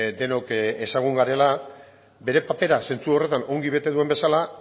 denok ezagun garela bere papera zentzu horretan ongi bete duen bezala